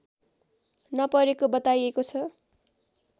नपरेको बताइएको छ